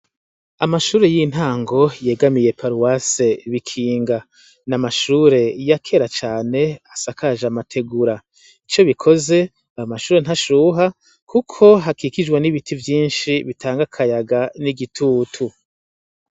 Amashure y'intango yegamiye paruwase Bikinga. Ni amashure ya kera cane asakaje amategura. Ico bikoze ayo mashure ntashuha kuko hakikujwe n'ibiti vyinshi bitanga akayaga n'igitutu.